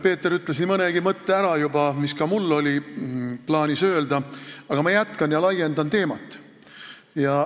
Peeter ütles juba ära nii mõnegi mõtte, mis oli ka mul plaanis öelda, aga ma jätkan ja laiendan teemat.